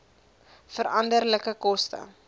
veranderlike koste